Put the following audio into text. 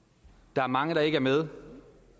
der er mange der ikke er med